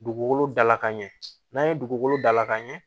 Dugukolo dalakan ɲɛ dugukolo dalakan ɲɛ